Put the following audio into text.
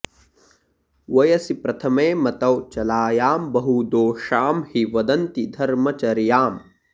वयसि प्रथमे मतौ चलायां बहुदोषां हि वदन्ति धर्मचर्याम्